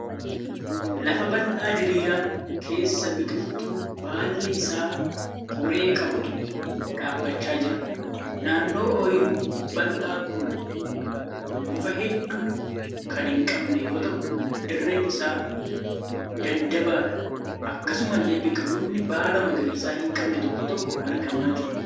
Lafa bal'aa diriiraa keessa biqiltuu baalli isaa qoree qabutu dhaabbachaa jira. Naannoo oyiruu bal'aa kun muka hedduu kan hin qabne yoo ta'u dirreen isaa daddabaadha. Akkasumallee biqiloonni baala magariisa hin qabne tokko tokko argamaa jiru.